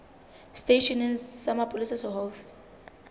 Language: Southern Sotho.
seteisheneng sa mapolesa se haufi